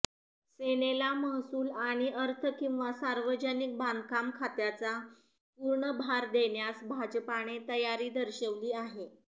सेनेला महसूल आणि अर्थ किंवा सार्वजनिक बांधकाम खात्याचा पूर्ण भार देण्यास भाजपाने तयारी दर्शवली आहे